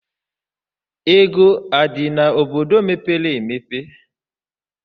Ego adị n'obodo ,mepere emepe?